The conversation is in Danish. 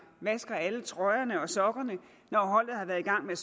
vasker alle trøjerne og sokkerne når holdet har været i gang med